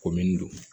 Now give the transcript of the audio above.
Komin